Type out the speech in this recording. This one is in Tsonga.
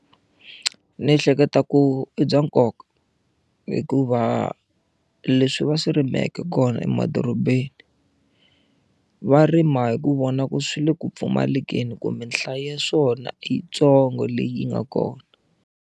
Ni ehleketa ku i bya nkoka hikuva leswi va swi rimeke kona emadorobeni va rima hi ku vona ku swi le ku pfumalekeni kumbe nhlayo ya swona i yitsongo leyi nga kona.